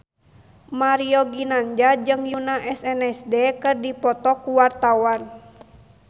Mario Ginanjar jeung Yoona SNSD keur dipoto ku wartawan